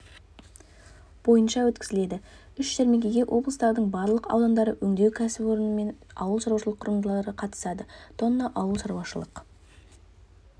бойынша өткізіледі үш жәрмеңкеге облыстардың барлық аудандарының өңдеу кәсіпорны мен ауылшаруашылық құрылымдары қатысады тонна ауылшаруашылық